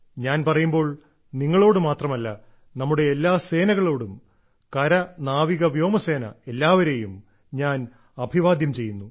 ഞാൻ പറയുമ്പോൾ നിങ്ങളോട് മാത്രമല്ല നമ്മുടെ എല്ലാ സേനകളോടും കരനാവികവ്യോമസേന എല്ലാവരേയും ഞാൻ അഭിവാദ്യം ചെയ്യുന്നു